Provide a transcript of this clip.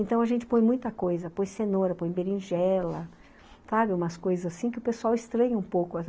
Então a gente põe muita coisa, põe cenoura, põe berinjela, sabe, umas coisas assim que o pessoal estranha um pouco.